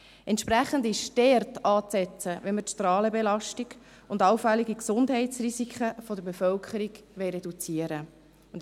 Entsprechend ist dort anzusetzen, wenn wir die Strahlenbelastung und allfällige Gesundheitsrisiken der Bevölkerung reduzieren wollen.